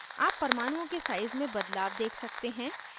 आप परमाणुओं के size में बदलाव देख सकते हैं